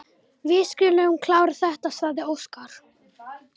Við skulum klára þetta, sagði Óskar.